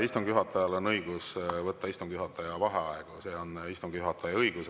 Istungi juhatajal on õigus võtta istungi juhataja vaheaega, see on istungi juhataja õigus.